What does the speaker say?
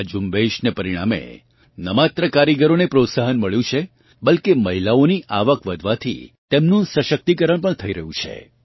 આ ઝુંબેશને પરિણામે ન માત્ર કારીગરોને પ્રોત્સાહન મળ્યું છે બલ્કે મહિલાઓની આવક વધવાથી તેમનું સશક્તિકરણ પણ થઇ રહ્યું છે